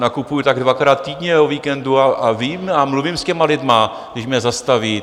Nakupuji tak dvakrát týdně o víkendu a vím a mluvím s těmi lidmi, když mě zastaví.